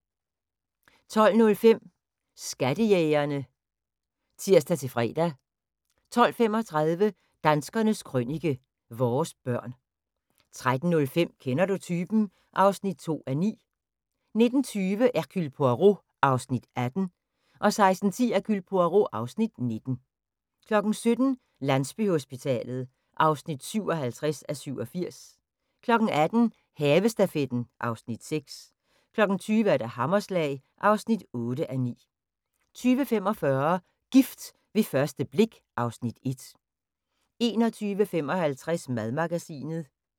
12:05: Skattejægerne (tir-fre) 12:35: Danskernes Krønike – Vores børn 13:05: Kender du typen? (2:9) 15:20: Hercule Poirot (Afs. 18) 16:10: Hercule Poirot (Afs. 19) 17:00: Landsbyhospitalet (57:87) 18:00: Havestafetten (Afs. 6) 20:00: Hammerslag (8:9) 20:45: Gift ved første blik (Afs. 1) 21:55: Madmagasinet